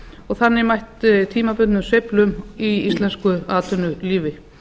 og þannig mætt tímabundið sveiflum í íslensku atvinnulífi